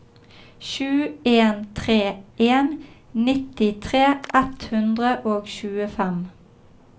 sju en tre en nittitre ett hundre og tjuefem